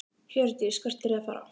Hjördís: Hvert eruð þið að fara?